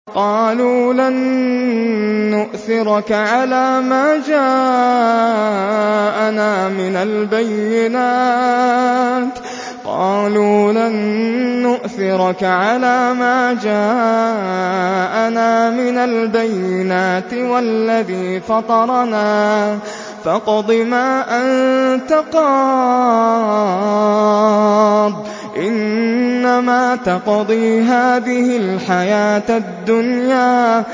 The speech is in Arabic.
قَالُوا لَن نُّؤْثِرَكَ عَلَىٰ مَا جَاءَنَا مِنَ الْبَيِّنَاتِ وَالَّذِي فَطَرَنَا ۖ فَاقْضِ مَا أَنتَ قَاضٍ ۖ إِنَّمَا تَقْضِي هَٰذِهِ الْحَيَاةَ الدُّنْيَا